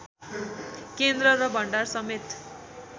केन्द्र र भण्डार समेत